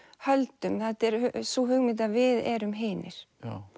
höldum þetta er sú hugmynd að við erum hinir